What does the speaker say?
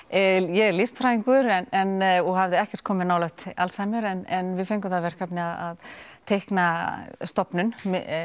ég er listfræðingur og hafði ekkert komið nálægt Alzheimer en við fengum það verkefni að teikna stofnun